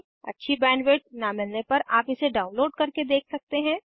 अच्छी बैंडविड्थ न मिलने पर आप इसे डाउनलोड करके देख सकते हैं